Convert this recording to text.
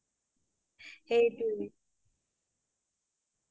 বেচিদিন বাহিৰা খাদ্য খাবয়ে নোৱাৰো